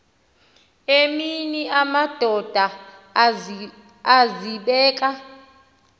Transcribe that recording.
emini amadoda azibeka